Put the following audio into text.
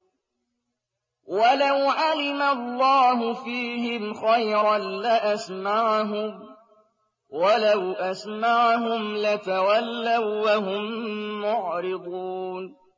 وَلَوْ عَلِمَ اللَّهُ فِيهِمْ خَيْرًا لَّأَسْمَعَهُمْ ۖ وَلَوْ أَسْمَعَهُمْ لَتَوَلَّوا وَّهُم مُّعْرِضُونَ